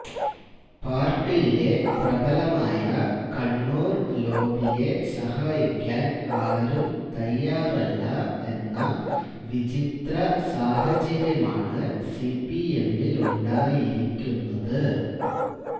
പാര്ട്ടിയിലെ പ്രബലമായ കണ്ണൂര് ലോബിയെ സഹായിക്കാന് ആരും തയ്യാറല്ല എന്ന വിചിത്ര സാഹചര്യമാണ് സിപിഎമ്മിലുണ്ടായിരിക്കുന്നത്